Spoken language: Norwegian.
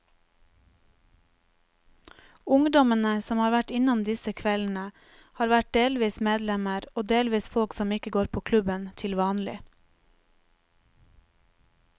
Ungdommene som har vært innom disse kveldene, har vært delvis medlemmer og delvis folk som ikke går på klubben til vanlig.